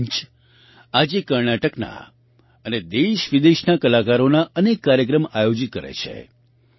આ મંચ આજે કર્ણાટકના અને દેશવિદેશના કલાકારોના અનેક કાર્યક્રમ આયોજિત કરે છે